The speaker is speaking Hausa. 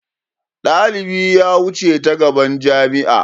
Dalibi ya wuce ta gaban jami'a.